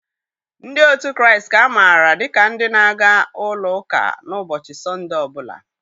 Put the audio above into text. Ndị òtù Kraịst ka maara dịka ndị na-aga ụlọ ụka na-ụbọchị Sọnde ọ bụla.